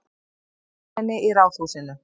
Fjölmenni í Ráðhúsinu